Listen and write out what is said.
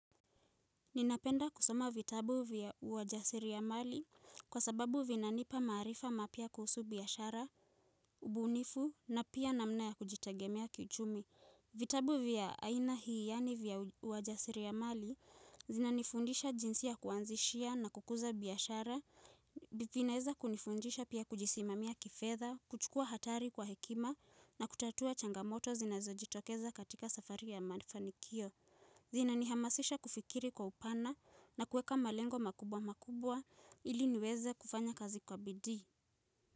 Ninapenda kusoma vitabu vya uajasiri ya mali kwa sababu vinanipa maarifa mapya kuhusu biashara, ubunifu na pia namna ya kujitegemea kiuchumi. Vitabu vya aina hii yaani vya uajasiriamali zinanifundisha jinsi ya kuanzishia na kukuza biashara, vinaeza kunifundisha pia kujisimamia kifedha, kuchukua hatari kwa hekima na kutatua changamoto zinazojitokeza katika safari ya mafanikio. Zina nihamasisha kufikiri kwa upana na kueka malengo makubwa makubwa ili niweze kufanya kazi kwa bidii.